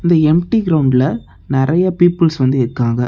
இந்த எம்டி கிரவுண்டுல நறைய பீப்பிள்ஸ் வந்து இருக்காங்க.